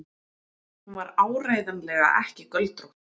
Hún var áreiðanlega ekki göldrótt.